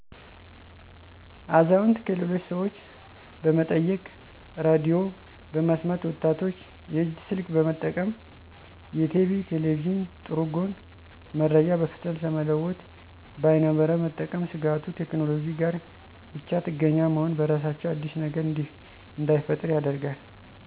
አዛውንት -ከሌሎች ሠወች በመጠየቅ ሬዲዮ በመስማት ወጣቶች -የእጅ ስልክ በመጠቀም የቲቪ ,ቴሌቪዥን ጥሩ ጎን- መረጃ በፍጥነት ለመለወጥ በይነመረብ መጠቀም ስጋቱ-ቴክኖሎጂ ጋር ብቻጥገኛ መሆን በራሳቸው አዲስ ነገር እንዳይፈጠር ያደርጋል